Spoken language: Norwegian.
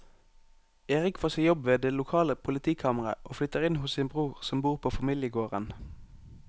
Erik får seg jobb ved det lokale politikammeret og flytter inn hos sin bror som bor på familiegården.